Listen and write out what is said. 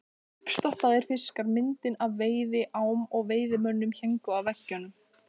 Uppstoppaðir fiskar, myndir af veiðiám og veiðimönnum héngu á veggjunum.